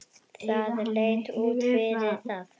Það leit út fyrir það.